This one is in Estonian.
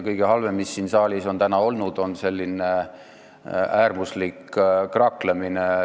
Kõige halvem, mis siin saalis on täna olnud, on selline äärmuslik kraaklemine.